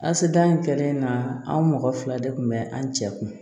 Asidiya in kɛlen na an mɔgɔ fila de kun bɛ an cɛ kun